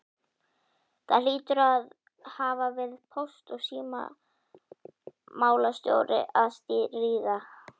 Það hlýtur að hafa verið póst- og símamálastjóri að stríða!